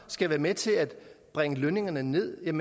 skal være med til at bringe lønningerne ned er